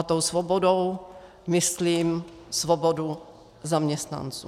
A tou svobodou myslím svobodu zaměstnanců.